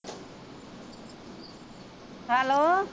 Hello.